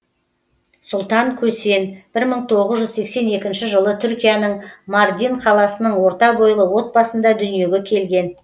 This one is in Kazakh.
сұлтан көсен бір мың тоғыз жүз сексен екінші жылы түркияның мардин қаласының орта бойлы отбасында дүниеге келген